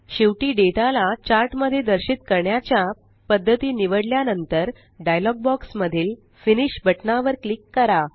शेवटी डेटा ला चार्ट मध्ये दर्शित करण्याच्या पद्धती निवडल्या नंतर डायलॉग बॉक्स मधील फिनिश बटना वर क्लिक करा